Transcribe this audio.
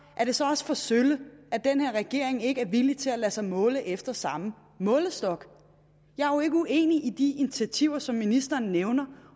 er det så også for sølle at den her regering ikke er villig til at lade sig måle efter samme målestok jeg er jo ikke uenig i de initiativer som ministeren nævner